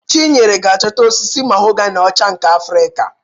Chinyere ga-achọta osisi mahoganị ọcha nke Afrịka.